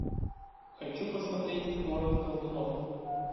хочу посмотреть город колдунов